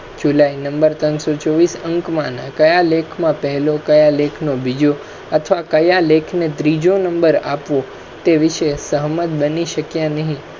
july number ત્રણ સો ચોબીસ અંક માના કયા લેખ મા પહેલો કયા લેખમા બીજો અથવા કયા લેખને ત્રીજો નં. આપવો તે વિષય સહમત બની શકયા નહીં